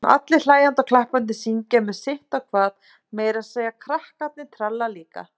Allir hlæjandi og klappandi, syngja með sitt á hvað, meira að segja krakkarnir tralla líka.